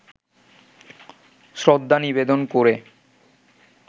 শ্রদ্ধা নিবেদন করে